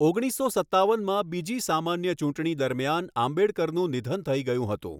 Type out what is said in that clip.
ઓગણીસો સત્તાવનમાં બીજી સામાન્ય ચૂંટણી દરમિયાન આંબેડકરનું નિધન થઈ ગયું હતું.